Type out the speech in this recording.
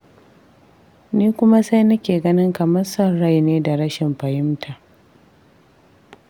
Ni kuma sai nake ganin kamar son rai ne da rashin fahimta.